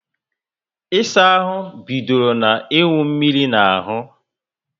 Ịsa ahụ bidoro na iwu mmírí na ahú